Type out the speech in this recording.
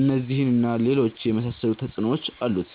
እነዚህን እና ሌሎች የመሳሰሉ ተጽዕኖዎች አሉት።